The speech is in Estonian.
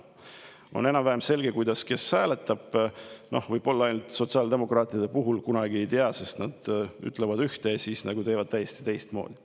On enam-vähem selge, kes kuidas hääletab, ainult sotsiaaldemokraatide puhul seda kunagi ei tea, sest nad ütlevad ühte, aga siis teevad täiesti teistmoodi.